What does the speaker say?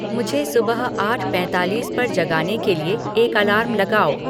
मुझे सुबह आठ पैंतालीस पर जगाने के लिए एक अलार्म लगाओ